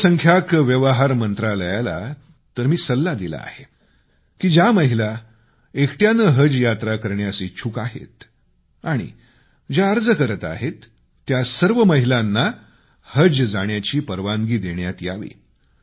अल्पसंख्यांक व्यवहार मंत्रालयाला तर मी सल्ला दिला आहे की ज्या महिला एकट्याने हज यात्रा करण्यास इच्छुक आहेत आणि अर्ज करत आहेत त्या सर्व महिलांना हजला जाण्याची परवानगी देण्यात यावी